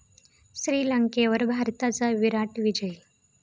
श्रीलंकेवर भारताचा 'विराट' विजय